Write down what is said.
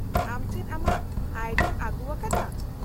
-ᱟᱢ ᱪᱮᱫ ᱟᱢᱟᱜ ᱟᱭᱰᱤᱢ ᱟᱹᱜᱩᱣᱟᱠᱟᱫᱟ ?